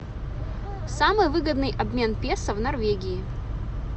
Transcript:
самый выгодный обмен песо в норвегии